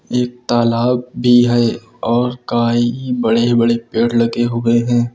एक तालाब भी है और कई बड़े बड़े पेड़ लगे हुए हैं।